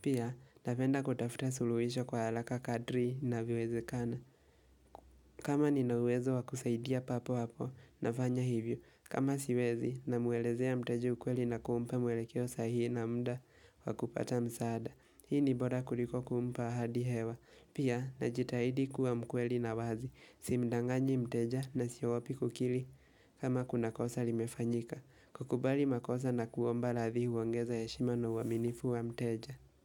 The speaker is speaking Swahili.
Pia, napenda kutafuta suluhisho kwa alaka kadri navyowezekana kama nina uwezo wa kusaidia papo hapo nafanya hivyo kama siwezi namuelezea mteja ukweli na kumpa mwelekeo sahihi na mda wa kupata msaada Hii ni bora kuliko kumpa ahadi hewa Pia najitahidi kuwa mkweli na wazi Simdanganyi mteja na sio wapi kukili kama kuna kosa limefanyika kukubali makosa na kuomba ladhi huongeza heshima na uaminifu wa mteja.